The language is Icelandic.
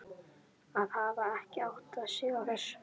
Að hafa ekki áttað sig á þessu!